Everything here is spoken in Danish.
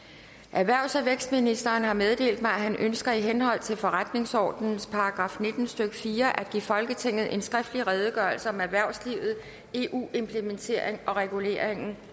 erhvervs og vækstministeren har meddelt mig at han ønsker i henhold til forretningsordenens § nitten stykke fire at give folketinget en skriftlig redegørelse om erhvervslivet eu implementering og reguleringen